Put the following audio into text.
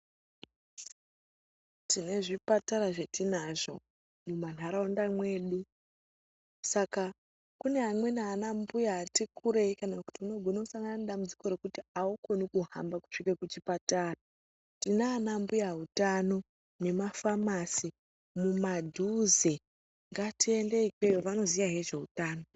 Tine zvipatara zvetinazvo mumanharaunda mwedu saka kune amweni ana mbuya ati kurei kana kuti unogone kusangana nedambudziko rekuti aukoni kuhamba kusvike kuchipatara, tina ana mbuya utano nemafamasi mumadhuze ngatiende ikweyo vanoziyahe ngezveuthano.